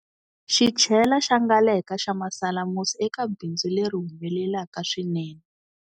Xichela xa Ngaleka xa masalamusi eka bindzu leri humelelaka swinene